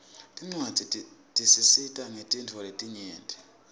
tincwadzi tisita ngetintfo letinyenti